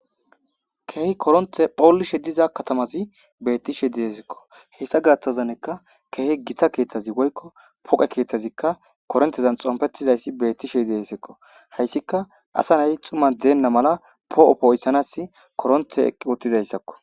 Kehi koronte polishe dizz katamazi bettishe de'esikko hesa gathazi qase kehi gita kethazi woyko poqe kethazi korontezan xonpetizaysi betishe de'esiko hasika asa Naya xuman Dena mala po'o po'isanas korontey eqi uttizasako